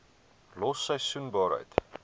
los seisoensarbeid